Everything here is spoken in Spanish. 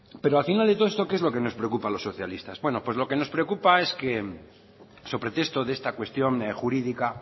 pero al final de todo qué es lo que nos preocupa a los socialistas lo que nos preocupa es so pretexto a esta cuestión jurídica